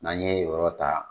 N'an ye yen yɔrɔ ta